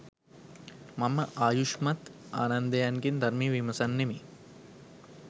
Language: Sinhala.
මම ආයුෂ්මත් ආනන්දයන්ගෙන් ධර්මය විමසන්නෙමි